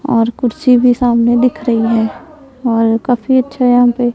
और कुर्सी भी सामने दिख रही है और काफी अच्छा यहां पे--